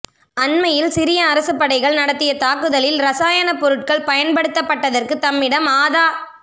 அண்மையில் சிரிய அரசுப்படைகள் நடத்திய தாக்குதலில் இரசாயனப்பொருட்கள் பயன்படுத்தப்பட்டதற்கு தம்மிடம் ஆத